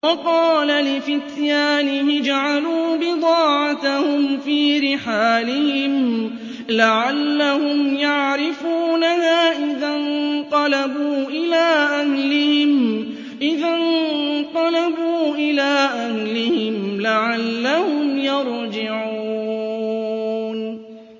وَقَالَ لِفِتْيَانِهِ اجْعَلُوا بِضَاعَتَهُمْ فِي رِحَالِهِمْ لَعَلَّهُمْ يَعْرِفُونَهَا إِذَا انقَلَبُوا إِلَىٰ أَهْلِهِمْ لَعَلَّهُمْ يَرْجِعُونَ